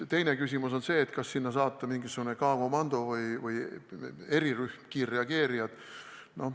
Teine küsimus on see, kas sinna saata mingisugune K-komando erirühm, kiirreageerijad.